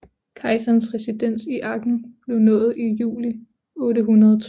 Kejserens residens i Aachen blev nået i juli 802